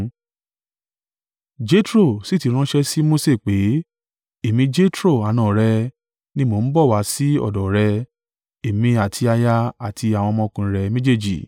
Jetro sì ti ránṣẹ́ sí Mose pé, “Èmi Jetro, àna rẹ, ni mo ń bọ̀ wá sí ọ̀dọ̀ rẹ, èmi àti aya àti àwọn ọmọkùnrin rẹ méjèèjì.”